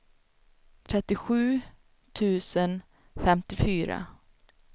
trettiosju tusen femtiofyra